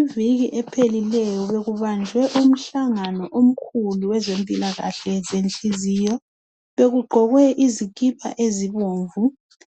Iviki ephelileyo bekubanjwe umhlangano omkhulu wezempilakahle zenhliziyo bekugqokwe izikipa ezibomvu